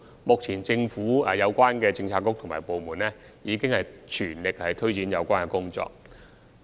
目前，政府的相關政策局及部門已全力推展有關的工作。